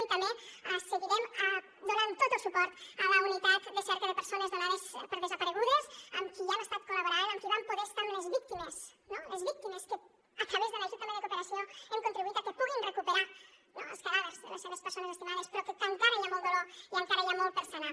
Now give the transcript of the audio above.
i també seguirem donant tot el suport a la unitat de cerca de persones donades per desaparegudes amb qui ja hem estat col·laborant amb qui vam poder estar amb les víctimes les víctimes que a través de l’ajut també de cooperació hem contribuït a que puguin recuperar els cadàvers de les seves persones estimades però que encara hi ha molt dolor i encara hi ha molt per sanar